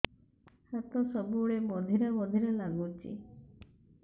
ହାତ ସବୁବେଳେ ବଧିରା ବଧିରା ଲାଗୁଚି